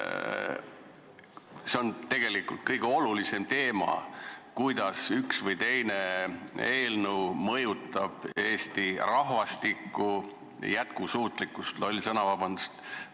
See on tegelikult kõige olulisem teema, kuidas üks või teine eelnõu mõjutab Eesti rahvastiku jätkusuutlikkust – loll sõna, vabandust!